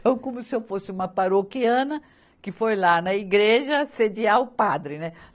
Então, como se eu fosse uma paroquiana que foi lá na igreja assediar o padre, né?